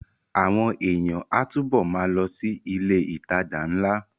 Àwọn èèyàn á túbọ̀ ma lọ sí ilé ìtajà ńlá